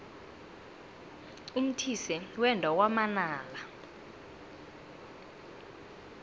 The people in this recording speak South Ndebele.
umthise wenda kwamanala